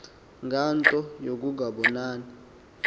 ngale nto yokungabonani